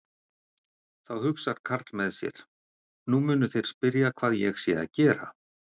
Þá hugsar karl með sér: Nú munu þeir spyrja hvað ég sé að gera.